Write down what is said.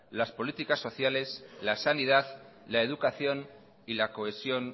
las políticas sociales la sanidad la educación y la cohesión